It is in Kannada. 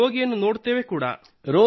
ರೋಗಿಯನ್ನು ನೋಡುತ್ತೇವೆ ಕೂಡಾ